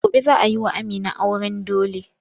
Gobe za a yi wa Amina auren dole.